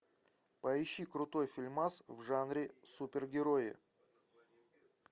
поищи крутой фильмас в жанре супергерои